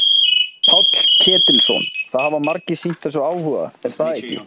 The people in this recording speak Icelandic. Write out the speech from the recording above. Páll Ketilsson: Það hafa margir sýnt þessu áhuga er það ekki?